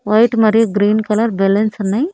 White మరియు green colour balloons ఉన్నాయి.